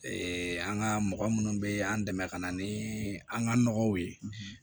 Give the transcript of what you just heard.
an ka mɔgɔ minnu bɛ an dɛmɛ ka na ni an ka nɔgɔw ye